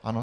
Ano.